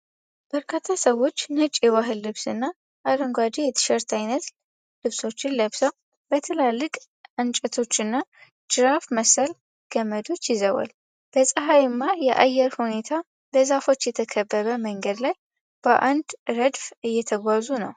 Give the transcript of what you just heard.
በርካታ ሰዎች ነጭ የባህል ልብስና አረንጓዴ የቲሸርት አይነት ልብሶችን ለብሰው በትላልቅ እንጨቶችና ጅራፍ መሰል ገመዶች ይዘዋል። በፀሐይማ የአየር ሁኔታ በዛፎች የተከበበ መንገድ ላይ በአንድ ረድፍ እየተጓዙ ነው።